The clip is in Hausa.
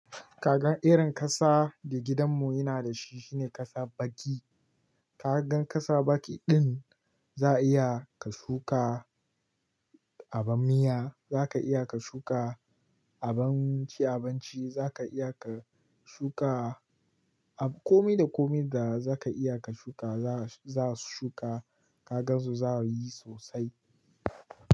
Kaga irin ƙasa da gidan mu yana da shi shine ƙasa baki. Kagan ƙasa baki din za iya ka shuka abun miya, zaka iya ka shuka abun ci abinci, zaka iya ka shuka komi da komi da zaka iya ka shuka za su shuka kagansu za su yi sosai.